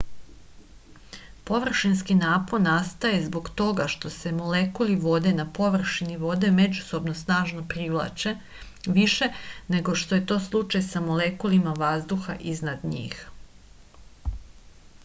površinski napon nastaje zbog toga što se molekuli vode na površini vode međusobno snažno privlače više nego što je to slučaj sa molekulima vazduha iznad njih